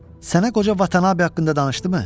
Sənə qoca Vatanabi haqqında danışdı mı?